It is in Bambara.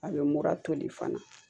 A bɛ mura toli fana